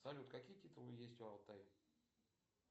салют какие титулы есть у алтая